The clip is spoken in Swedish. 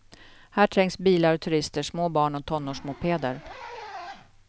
Här trängs bilar och turister, små barn och tonårsmopeder.